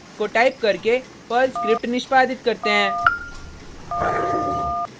को टाइप करके Perl script निष्पादित करते हैं